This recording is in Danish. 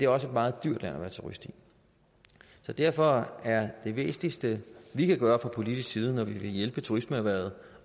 også et meget dyrt land at være turist i derfor er det væsentligste vi kan gøre fra politisk side når vi vil hjælpe turismeerhvervet